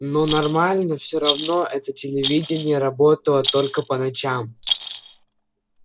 но нормально всё равно это телевидение работало только по ночам